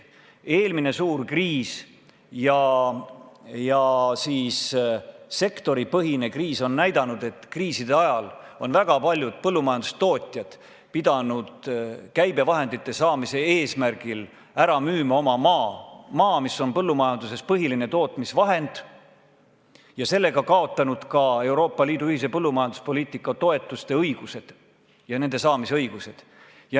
Eelmine suur kriis ka selles sektoris näitas, et kriisi ajal on väga paljud põllumajandustootjad pidanud käibevahendite saamiseks ära müüma oma maa – maa, mis on põllumajanduses põhiline tootmisvahend – ja sellega kaotanud ka Euroopa Liidu ühise põllumajanduspoliitika toetuste saamise õiguse.